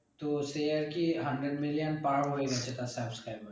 তো সে আরকি hundred million পার হয়ে গেছে তার subscriber